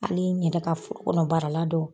Ani n yɛrɛ ka forokɔnɔ baarala dɔw.